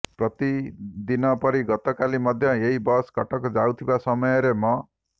ପ୍ରତି ଦିନ ପରି ଗତକାଲି ମଧ୍ୟ ଏହି ବସ କଟକ ଯାଉଥିବା ସମୟରେ ମ